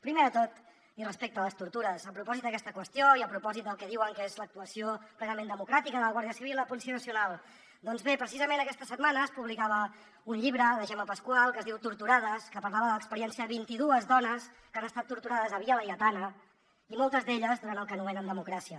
primer de tot i respecte a les tortures a propòsit d’aquesta qüestió i a propòsit del que diuen que és l’actuació plenament democràtica de la guàrdia civil i la policia nacional doncs bé precisament aquesta setmana es publicava un llibre de gemma pasqual que es diu torturades que parlava de l’experiència de vint i dues dones que han estat torturades a via laietana i moltes d’elles durant el que anomenen democràcia